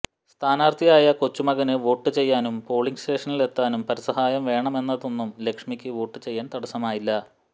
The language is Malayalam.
സ്ഥാനാര്ഥിയായ കൊച്ചുമകന് വോട്ടു ചെയ്യാനും പോളിങ് സ്റ്റേഷനിലെത്താനും പരസഹായം വേണമെന്നതൊന്നും ലക്ഷ്മിക്ക് വോട്ടു ചെയ്യാന് തടസ്സമായില്ല